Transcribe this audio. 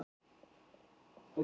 """Já, já sagði hann."""